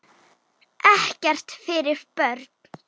Ekkert fyrir börn.